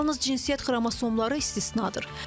Yalnız cinsiyyət xromosomları istisnadır.